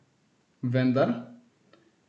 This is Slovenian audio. Vendar?